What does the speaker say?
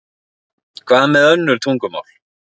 Hvað með önnur tungumál?